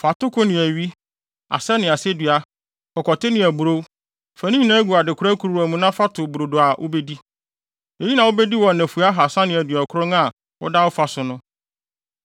“Fa atoko ne awi, asɛ ne asedua, kɔkɔte ne aburow; fa ne nyinaa gu adekora kuruwa mu na fa to brodo a wubedi. Eyi na wubedi wɔ nnafua ahaasa ne aduɔkron a woda wo fa so no.